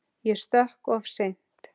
Ég stökk of seint.